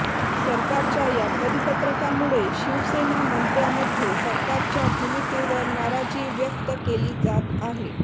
सरकारच्या या परिपत्रकामुळे शिवसेना मंत्र्यांमध्ये सरकारच्या भूमिकेवर नाराजी व्यक्त केली जात आहे